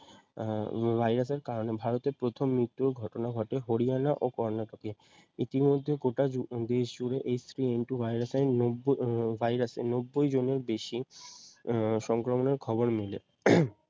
আহ virus এর কারণে ভারতে প্রথম মৃত্যুরও ঘটনা ঘটে হরিয়ানা ও কর্নাটকে ইতিমধ্যে গোটা জু আহ দেশ জুড়ে H three N two virus আহ নব্ব ভাইরাসে নব্বই জনের বেশি আহ সংক্রমণের খবর মিলে